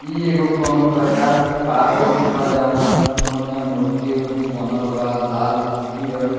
इ एगो कउनो प्रकार के पार्क उर्क बा जेऊन में खूब बढ़िया मूर्ति-उर्ति बनल बा लाल पीयर।